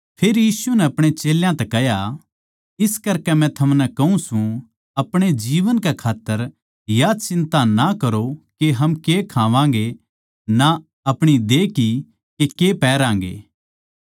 फेर यीशु नै अपणे चेल्यां तै कह्या इस करकै मै थमनै कहूँ सूं अपणे जीवन के खात्तर या चिंता ना करो के हम के खावांगें ना अपणी देह की के के पैहरागें